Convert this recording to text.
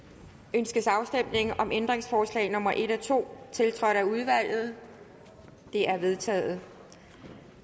ønskes afstemning om ændringsforslag nummer en og to tiltrådt af udvalget de er vedtaget